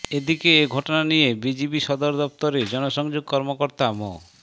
এদিকে এ ঘটনা নিয়ে বিজিবি সদর দপ্তরের জনসংযোগ কর্মকর্তা মো